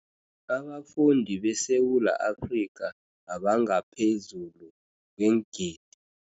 Abafundi beSewula Afrika abangaphezulu kweengidi